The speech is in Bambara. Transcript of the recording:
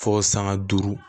Fo sanga duuru